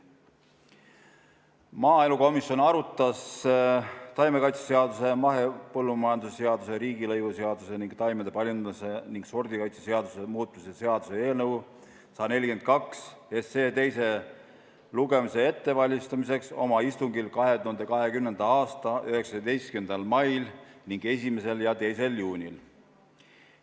Maaelukomisjon arutas taimekaitseseaduse, mahepõllumajanduse seaduse, riigilõivuseaduse ning taimede paljundamise ja sordikaitse seaduse muutmise seaduse eelnõu 142 teise lugemise ettevalmistamiseks oma istungitel 2020. aasta 19. mail ning 1. ja 2. juunil.